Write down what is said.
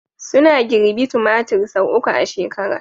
Suna girbi tumatir sau uku a shekara